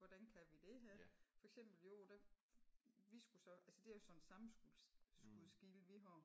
Hvordan kan vi det her? For eksempel i år da vi skulle så altså det er jo sådan en sammenskudsgilde vi har